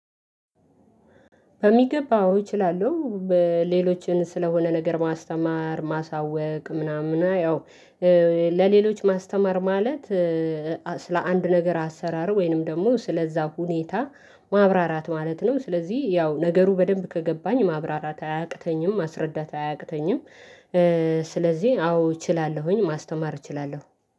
በሚገባ አዎ እችላለሁ። ሌሎችን ስለሆነ ነገር ማስተማር ማሳወቅ ምናምን ያው ለሌሎች ማስተማር ማለት ስለ አንድ ነገር አሰራር ወይንም ደግሞ ስለዚያ ሁኔታ ማብራራት ማለት ነው። ስለዚህ ያው ነገሩ በደንብ ከገባኝ ማብራራት አያቅተኝም ማስረዳት አያቅተኝም። ስለዚህ አዎ እችላለሁኝ ማስተማር እችላለሁ